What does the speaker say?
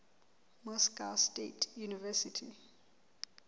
moscow state university